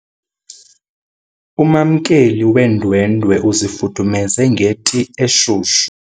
Umamkeli weendwendwe uzifudumeze ngeti eshushu.